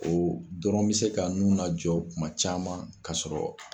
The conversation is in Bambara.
O dɔrɔn bɛ se ka n'u najɔ kuma caman ka sɔrɔ